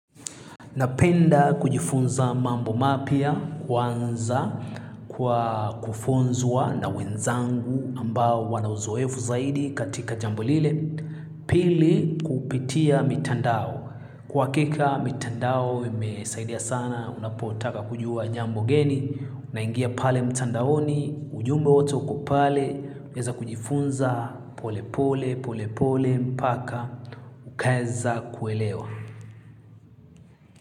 Napenda kujifunza mambo mapya kwanza kwa kufunzwa na wenzangu ambao wana uzoefu zaidi katika jambo lile. Pili kupitia mitandao. Kwa hakika mitandao imesaidia sana unapotaka kujua jambo geni. Unaingia pale mtandaoni, ujumbe wote uko pale unaweza kujifunza pole pole pole pole mpaka ukaeza kuelewa.